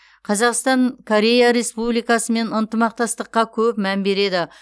қазақстан корея республикасымен ынтымақтастыққа көп мән береді